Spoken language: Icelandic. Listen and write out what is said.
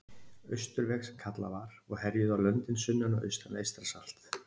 Austurveg, sem kallað var, og herjuðu á löndin sunnan og austan við Eystrasalt.